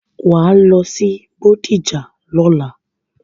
Wàá lọ sí Bódìjà lọ́la!